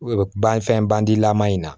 Ban fɛn bandilama in na